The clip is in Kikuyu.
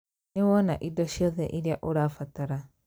Nĩ wona indo ciothe iria ũrabatara